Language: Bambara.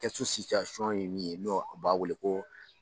Kasu ye min ye no o b'a wele ko